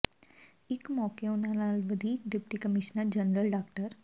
ਇਸ ਮੌਕੇ ਉਨ੍ਹਾਂ ਨਾਲ ਵਧੀਕ ਡਿਪਟੀ ਕਮਿਸ਼ਨਰ ਜਨਰਲ ਡਾ